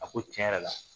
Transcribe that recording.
A ko tiɲɛ yɛrɛ la